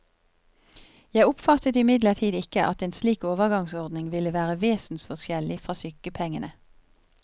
Jeg oppfattet imidlertid ikke at en slik overgangsordning ville være vesensforskjellig fra sykepengene.